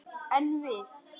En við!